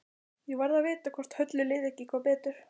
Ég varð að vita hvort Höllu liði ekki eitthvað betur.